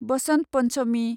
वसन्त पन्चमि